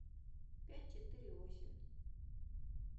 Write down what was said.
пять четыре восемь